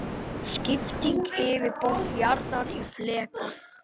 Skipting yfirborðs jarðar í fleka.